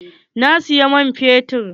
Na siyi man fetur.